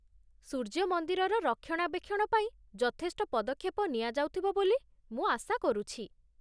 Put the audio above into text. ସୂର୍ଯ୍ୟ ମନ୍ଦିରର ରକ୍ଷଣାବେକ୍ଷଣ ପାଇଁ ଯଥେଷ୍ଟ ପଦକ୍ଷେପ ନିଆଯାଉଥିବ ବୋଲି ମୁଁ ଆଶା କରୁଛି ।